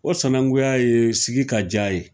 O sanankuya ye sigi ka diya ye.